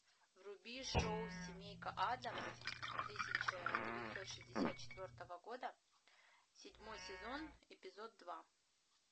вруби шоу семейка аддамс тысяча девятьсот шестьдесят четвертого года седьмой сезон эпизод два